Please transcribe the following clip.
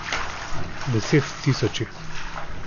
Deset tisoči.